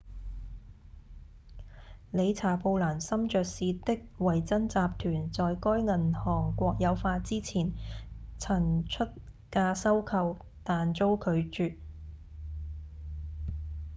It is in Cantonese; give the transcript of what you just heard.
理查‧布蘭森爵士的維珍集團在該銀行國有化之前曾出價收購但遭拒